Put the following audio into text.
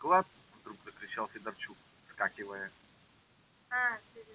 склад вдруг закричал федорчук вскакивая